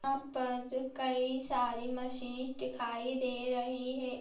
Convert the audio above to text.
यहाँ पर कई सारी मशीन्स दिखाई दे रही है।